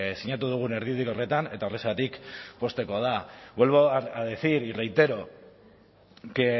sinatu dugun erdibideko horretan eta horrexegatik poztekoa da vuelvo a decir y reitero que